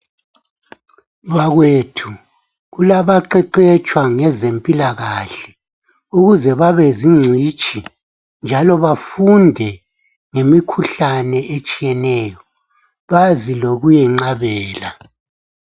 Bakwethu kulaba qeqetshwa ngezemphilakahle, ukuze babe zigcitshi njalo bafunde ngemikhuhlane etshiyeneyo bazi ngokuyiqabela.